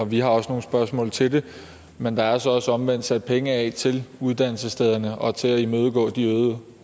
vi også nogle spørgsmål til men der er altså også omvendt sat penge af til uddannelsesstederne og til at imødegå de øgede